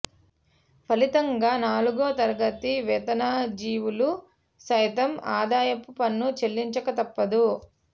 ఫలితంగా నాలుగో తరగతి వేతనజీవులు సైతం ఆదాయపు పన్ను చెల్లించక తప్పదు